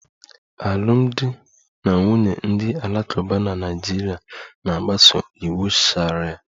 Alụmdi na nwunye ndị Alakụba na Naịjirịa na-agbaso iwu sharia